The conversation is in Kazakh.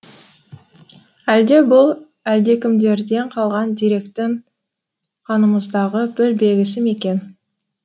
әлде бұл әлдекімдерден қалған деректің қанымыздағы бір белгісі ме екен